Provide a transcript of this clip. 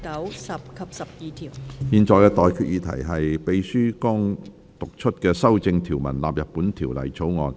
我現在向各位提出的待決議題是：秘書剛讀出經修正的條文納入本條例草案。